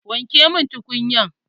Wanke mun tukunya!